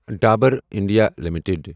Dabur India limited